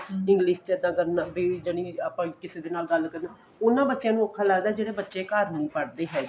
English ਚ ਇੱਦਾਂ ਕਰਨਾ ਬੀ ਜਾਣੀ ਕੀ ਆਪਾਂ ਕਿਸੇ ਦੇ ਨਾਲ ਗੱਲ ਕਰਦੇ ਉਹਨਾ ਬੱਚਿਆਂ ਨੂੰ ਔਖਾ ਲੱਗਦਾ ਜਿਹੜੇ ਬੱਚੇ ਘਰ ਨੀਂ ਪੜ੍ਹਦੇ ਹੈਗੇ